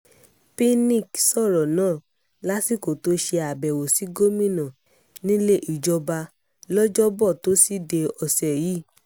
pinnick sọ̀rọ̀ náà lásìkò tó ṣe àbẹ̀wò sí gómìnà nílé ìjọba lọ́jọ́bọ́tò tọ́sídẹ̀ẹ́ ọ̀sẹ̀ yìí